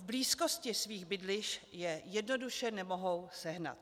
V blízkosti svých bydlišť je jednoduše nemohou sehnat.